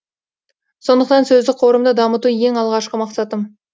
сондықтан сөздік қорымды дамыту ең алғашқы мақсатым